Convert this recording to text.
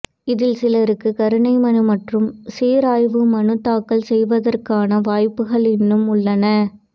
இதில் சிலருக்கு கருணை மனு மற்றும் சீராய்வு மனு தாக்கல் செய்வதற்கான வாய்ப்புகள் இன்னும் உள்ளன